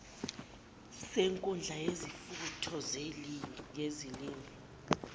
senkundla yesifundo yezilimi